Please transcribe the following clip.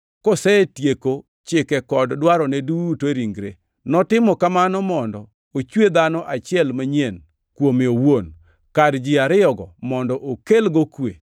kosetieko chike kod dwarone duto e ringre. Notimo kamano mondo ochwe dhano achiel manyien kuome owuon, kar ji ariyogo, mondo okelgo kwe,